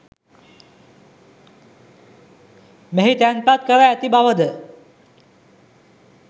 මෙහි තැන්පත් කර ඇති බව ද